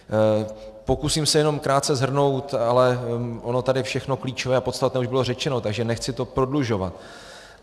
Pokusím se jenom krátce shrnout, ale ono tady všechno klíčové a podstatné už bylo řečeno, takže nechci to prodlužovat.